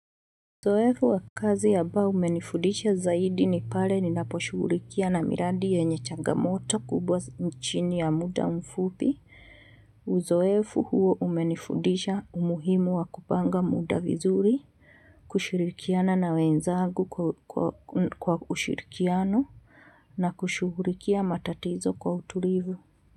Uzoefu wakazi ambao umenifudisha zaidi ni pale ninaposhughulikia na miradi ya chagamoto kubwa chini ya muda mfupi, uzoefu huo umenifundisha umuhimu wa kupanga muda vizuri, kushirikiana na wenzagu kwa ushirikiano na kushughulikia matatizo kwa utulivu.